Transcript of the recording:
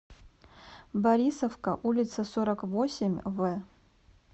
борисовка улица сорок восемь в